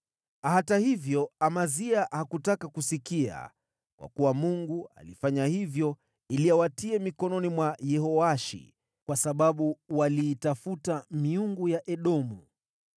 Hata hivyo, Amazia hakutaka kusikia, kwa kuwa Mungu alifanya hivyo ili awatie mikononi mwa Yehoashi, kwa sababu waliitafuta miungu ya Edomu.